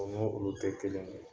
O n'o olu tɛ kelen ye